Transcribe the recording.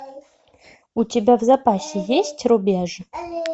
у тебя в запасе есть рубеж